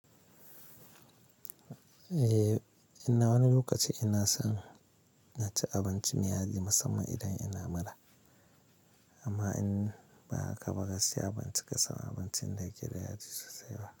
Eh, ina wani lokaci ina son na ci abinci miya yadi musamman idan ina mura. Amma in ba haka ba, gaskiya ban cika so, abincin dake da yaji sosai ba.